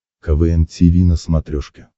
квн тиви на смотрешке